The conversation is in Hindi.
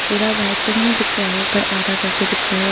पूरा भाईबाइक तो नहीं दिख रहा है पर आधा करके दिख रहा है।